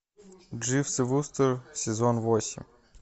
дживс и вустер сезон восемь